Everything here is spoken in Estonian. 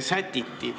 sätiti.